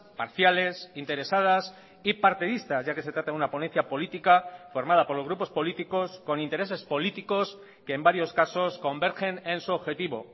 parciales interesadas y partidistas ya que se trata de una ponencia política formada por los grupos políticos con intereses políticos que en varios casos convergen en su objetivo